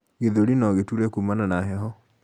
gĩthũri nogituure kumana na heho